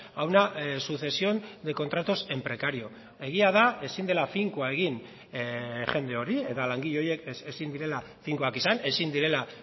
a una sucesión de contratos en precario egia da ezin dela finkoa egin jende hori eta langile horiek ezin direla finkoak izan ezin direla